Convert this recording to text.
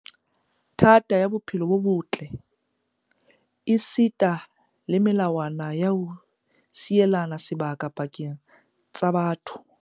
thata ya bophelo bo botle esita le melawana ya ho sielana sebaka pakeng tsa batho.